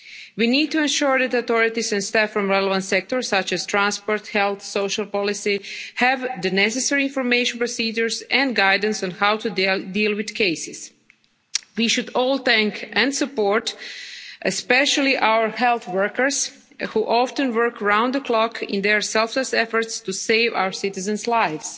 We need to ensure that authorities and staff from relevant sectors, such as transport, health and social policy have the necessary information procedures and guidance on how to deal with cases. We should all especially thank and support our health workers, who often work round the clock in their selfless efforts to save our citizens' lives.